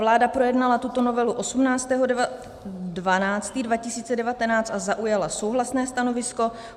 Vláda projednala tuto novelu 18. 12. 2019 a zaujala souhlasné stanovisko.